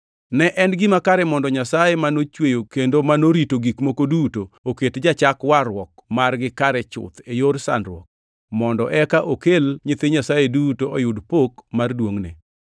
Ne en gima kare mondo Nyasaye manochweyo kendo morito gik moko duto oket jachak warruok margi kare chuth e yor sandruok, mondo eka okel nyithi Nyasaye duto oyud pok mar duongʼne.